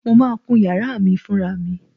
Mo máa kún yàrá mi fúnra mi.